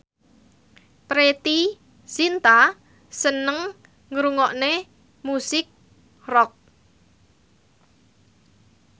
Preity Zinta seneng ngrungokne musik rock